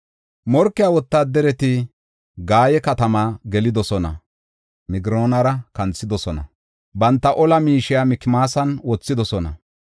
Morkiya wotaadarati Gaye katamaa gelidosona; Migroonara kanthidosona; banta ola miishiya Mikmaasa wothidosona.